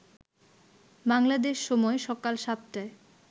বাংলাদেশ সময় সকাল ৭টায়